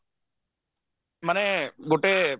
ମାନେ ଗୋଟେ